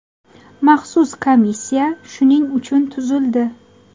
Maxsus komissiya shuning uchun tuzildi.